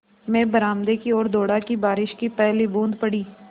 मैं बरामदे की ओर दौड़ा कि बारिश की पहली बूँद पड़ी